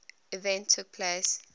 event took place